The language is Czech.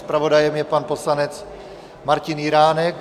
Zpravodajem je pan poslanec Martin Jiránek.